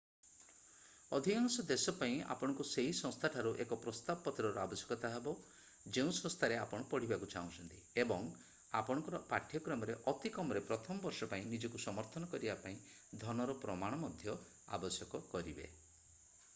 ଅଧିକାଂଶ ଦେଶ ପାଇଁ ଆପଣଙ୍କୁ ସେହି ସଂସ୍ଥା ଠାରୁ ଏକ ପ୍ରସ୍ତାବ ପତ୍ରର ଆବଶ୍ୟକତା ହେବ ଯେଉଁ ସଂସ୍ଥାରେ ଆପଣ ପଢିବାକୁ ଚାହୁଁଛନ୍ତି ଏବଂ ଆପଣଙ୍କର ପାଠ୍ୟକ୍ରମରେ ଅତି କମରେ ପ୍ରଥମ ବର୍ଷ ପାଇଁ ନିଜକୁ ସମର୍ଥନ କରିବା ପାଇଁ ଧନର ପ୍ରମାଣ ମଧ୍ୟ ଆବଶ୍ୟକ କରିବେ